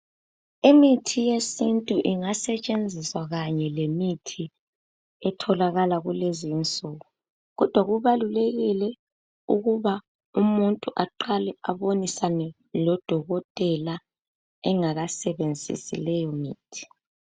Imithi yesintu ingasetshenziswa kanye lemithi etholakala kulezi insuku kodwa kubalulekile ukuba umuntu abonisane lodokotela engakasebenzisi leyomithi.